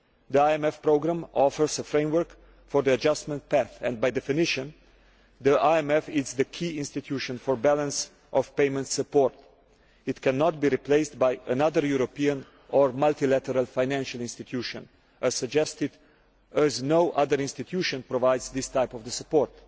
The IMF programme offers a framework for the adjustment process and, by definition, the IMF is the key institution for balance of payments support. It cannot be replaced by another European or multilateral financial institution, as no other institution provides this type of support.